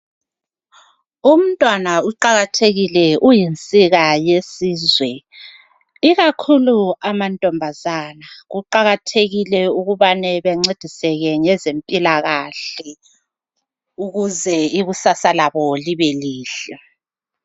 Umntwana uqakathekile uyinsika yesizwe, ikakhulu amantombazana, kuqakathekile ukubana bancediseke ngezempilakahle ukuze ikusasa labo libe lihle.